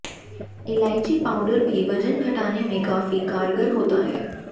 इलाचयी powder भी वजन घटाने में काफी कारगर होता है